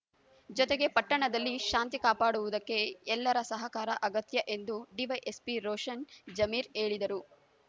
ಜೊತೆಗೆ ಪಟ್ಟಣದಲ್ಲಿ ಶಾಂತಿ ಕಾಪಾಡುವುದಕ್ಕೆ ಎಲ್ಲರ ಸಹಕಾರ ಅಗತ್ಯ ಎಂದು ಡಿವೈಎಸ್ಪಿ ರೋಷನ್‌ ಜಮೀರ್‌ ಹೇಳಿದರು